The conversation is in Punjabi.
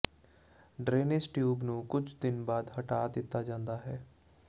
ਡਰੇਨੇਜ ਟਿਊਬ ਨੂੰ ਕੁਝ ਦਿਨ ਬਾਅਦ ਹਟਾ ਦਿੱਤਾ ਜਾਂਦਾ ਹੈ